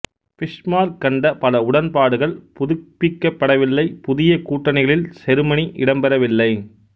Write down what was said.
Bismarck கண்ட பல உடன்பாடுகள் புதுப்பிக்கப்படவில்லை புதிய கூட்டணிகளில் செருமனி இடம்பெறவில்லை